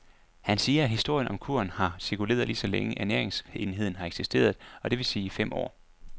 Han siger, at historien om kuren har cirkuleret lige så længe, ernæringsenheden har eksisteret, og det vil sige i fem år.